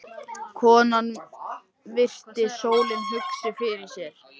Konan virti stólinn hugsi fyrir sér.